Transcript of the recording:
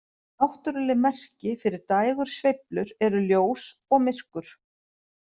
Náttúruleg merki fyrir dægursveiflur eru ljós og myrkur.